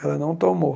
Ela não tomou.